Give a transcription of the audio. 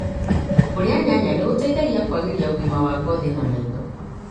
Kũrĩa nyanya nĩgũteithagia kũagĩria ũgima wa ngothi na maitho.